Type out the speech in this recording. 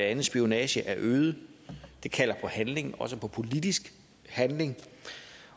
andet spionage er øget det kalder på handling også på politisk handling